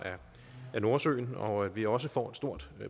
af nordsøen og vi også får et stort